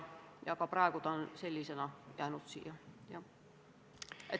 Aga praegu on ta sellisena siia jäänud.